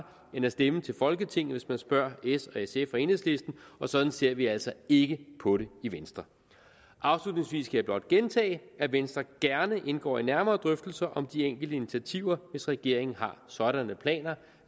end at stemme til folketinget hvis man spørger s sf og enhedslisten og sådan ser vi altså ikke på det i venstre afslutningsvis skal jeg blot gentage at venstre gerne indgår i nærmere drøftelser om de enkelte initiativer hvis regeringen har sådanne planer